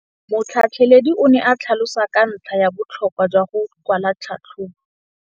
Motlhatlheledi o ne a tlhalosa ka ntlha ya botlhokwa jwa go kwala tlhatlhôbô.